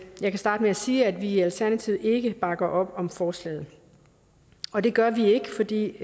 jeg kan starte med at sige at vi i alternativet ikke bakker op om forslaget og det gør vi ikke fordi